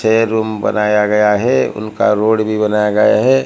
छे रूम बनाया गया है उनका रोड भी बनाया गया है।